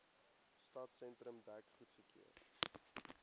stadsentrum dek goedgekeur